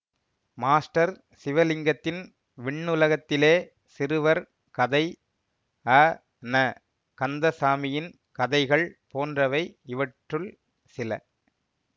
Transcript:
master சிவலிங்கத்தின் விண்ணுலகத்திலே சிறுவர் கதை அ ந கந்தசாமியின் கதைகள் போன்றவை இவற்றுள் சில